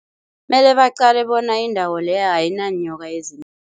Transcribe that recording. Mele baqale bona indawo leyo ayinanyoka